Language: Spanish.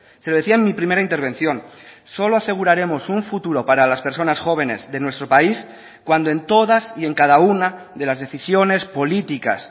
se lo decía en mi primera intervención solo aseguraremos un futuro para las personas jóvenes de nuestro país cuando en todas y en cada una de las decisiones políticas